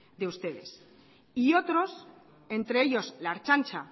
de ustedes y otros entre ellos la ertzaintza